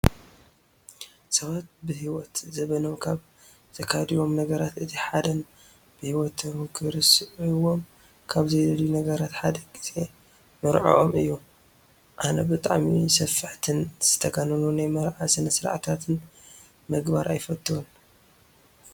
ሰባት ብሂወት ዘበኖም ካብ ዝካይድዎም ነገራት እቲ ሓደን ብሂወቶም ክርስዕዎም ካብ ዘይደልዩ ነገራት ሓደ ግዜ መርዐኦም እዩ። ኣነ ብጣዕሚ ሰፋሕትን ዝተጋነኑ ናይ መርዓ ስነ ስርዓታት ምግባር ኣይፈትውን።